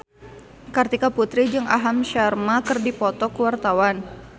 Kartika Putri jeung Aham Sharma keur dipoto ku wartawan